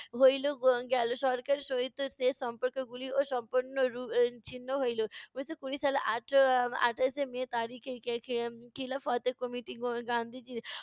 হইলো গেলো। সরকারের সহিত যে সম্পর্কগুলি সম্পূর্ণরু ছিন্ন হইলো। উনিশশো কুড়ি সালের আট~ আটাশে মে তারিখে খি খি খিলাফত committee গান্ধীজির